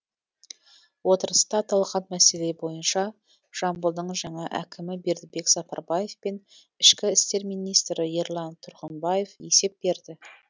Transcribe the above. отырыста аталған мәселе бойынша жамбылдың жаңа әкімі бердібек сапарбаев пен ішкі істер министрі ерлан тұрғымбаев есеп берді